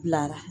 Bilara